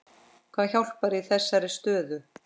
Hvað hjálpar í þeirri stöðu?